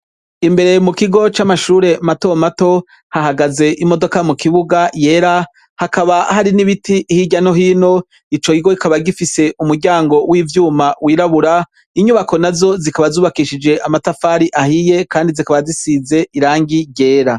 Imbere mu kigo c'amashure mato mato, hahagaze imodoka mu kibuga yera, hakaba hari n'ibiti hirya no hino, ico kigo kikaba gifise umuryango w'ivyuma w'irabura, inyubako nazo zikaba zubakishije amatafari ahiye kandi zikaba zisize irangi ryera.